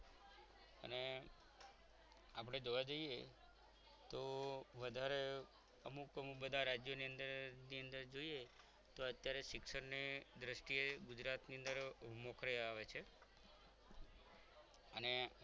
આપણે જોવા જઈએ તો વધારે અમુક અમુક બધા રાજ્યો ની અંદર ની અંદર જોઈએ તો અત્યારે શિક્ષણની દ્રષ્ટિએ ગુજરાતની અંદર મોકલી આવે છે અને